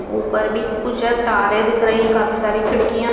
उपर भी कुछ तारे दिख रहे है काफी सारी खिडकिया है।